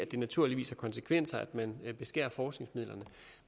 det naturligvis har konsekvenser at man beskærer forskningsmidlerne